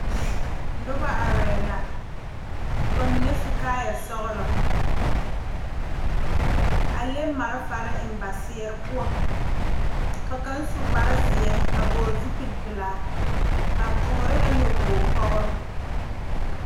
Noba arɛɛ la ka ba mine su kaayɛ sɔgelɔ a leŋ malfare eŋ ba zeere poɔ ka kaŋ su kpar zeɛ a vɔgele zupili pelaa ba toore la nyɔboo toore